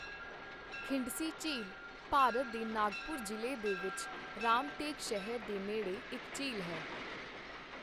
ਖਿੰਡਸੀ ਝੀਲ ਭਾਰਤ ਦੇ ਨਾਗਪੁਰ ਜ਼ਿਲ੍ਹੇ ਵਿੱਚ ਰਾਮਟੇਕ ਸ਼ਹਿਰ ਦੇ ਨੇੜੇ ਇੱਕ ਝੀਲ ਹੈ।